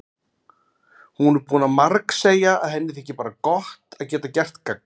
Hún er búin að margsegja að henni þyki bara gott að geta gert gagn.